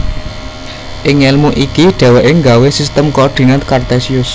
Ing ngelmu iki dheweke nggawe Sistem Koordinat Kartesius